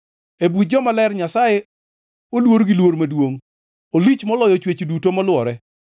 E buch jomaler Nyasaye oluor gi luor maduongʼ; olich moloyo chwech duto molwore.